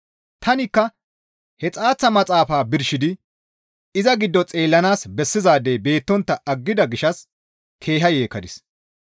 Tanikka he xaaththa maxaafaa birshidi iza giddo xeellanaas bessizaadey beettontta aggida gishshas keeha yeekkadis.